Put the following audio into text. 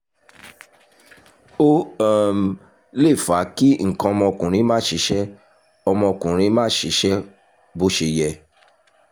ó um lè fa kí nǹkan ọmọkùnrin má ṣiṣẹ́ ọmọkùnrin má ṣiṣẹ́ bó ṣe yẹ